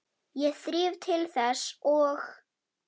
Ég þríf til þess og